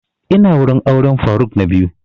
Ina wurin auren faruk na biyu